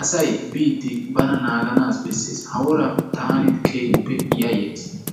asay biiddi bana naagana bessees. Taani keehippe yayayis.